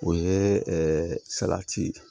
O ye salati ye